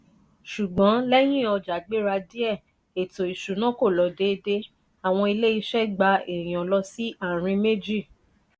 ṣùgbọ́n lẹ́yìn ọjà gbéra díè eto isuna kò lọ dédé; awon ile ise gba ẹ̀yán lọ si àárín méjì.